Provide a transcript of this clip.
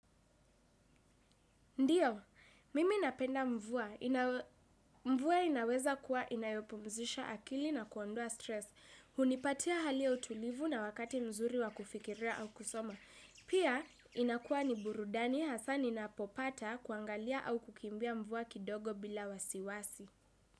Ndiyo, mimi napenda mvua. Mvua inaweza kuwa inayopomzisha akili na kuondua stress. Hunipatia hali utulivu na wakati mzuri wa kufikiria au kusoma. Pia, inakuwa ni burudani hasa ninapopata kuangalia au kukimbia mvua kidogo bila wasiwasi.